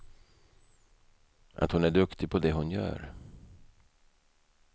Att hon är duktig på det hon gör.